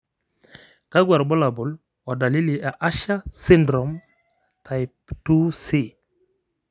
kakwa irbulabol o dalili e Usher syndrome ,type 2C?